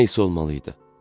Nə isə olmalı idi.